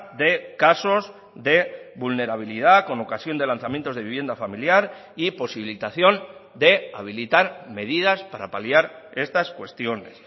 de casos de vulnerabilidad con ocasión de lanzamientos de vivienda familiar y posibilitación de habilitar medidas para paliar estas cuestiones